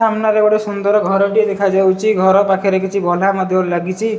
ସାମ୍ନାରେ ଗୋଟେ ସୁନ୍ଦର ଘରଟିଏ ଦେଖାଯାଉଚି ଘର ପାଖରେ କିଛି ମଧ୍ୟ ଲାଗିଚି।